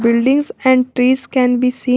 Buildings and trees can be seen --